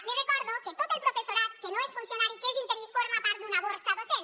li recordo que tot el professorat que no és funcionari que és interí forma part d’una borsa docent